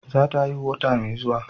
Za ta haihu wata mai zuwa